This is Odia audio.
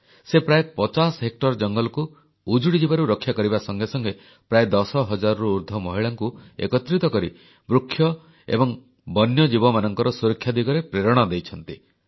ସେ ପ୍ରାୟ 50 ହେକ୍ଟର ଜଙ୍ଗଲକୁ ଉଜୁଡ଼ିଯିବାରୁ ରକ୍ଷା କରିବା ସଙ୍ଗେ ସଙ୍ଗେ ପ୍ରାୟ 10 ହଜାରରୁ ଉର୍ଦ୍ଧ୍ବ ମହିଳାଙ୍କୁ ଏକତ୍ରିତ କରି ବୃକ୍ଷ ଏବଂ ବନ୍ୟଜୀବମାନଙ୍କର ସୁରକ୍ଷା ଦିଗରେ ପ୍ରେରଣା ଦେଇଛନ୍ତି